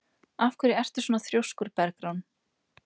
Af hverju ertu svona þrjóskur, Bergrán?